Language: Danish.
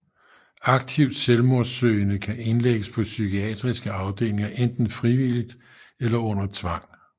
Aktivt selvmordssøgende kan indlægges på psykiatriske afdelinger enten frivilligt eller under tvang